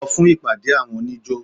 Lọ fún ìpàde àwọn oníjó!